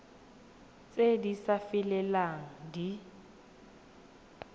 tse di sa felelang di